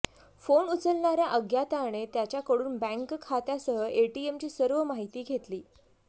phone उचलणाऱ्या अज्ञाताने त्याच्याकडून बँक खात्यासह एटीएमची सर्व माहिती घेतली